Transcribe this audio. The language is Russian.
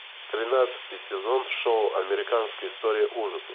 тринадцатый сезон шоу американская история ужасов